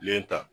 ta